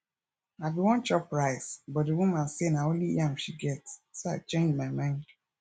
i bin wan chop rice but the woman say na only yam she get so i change my mind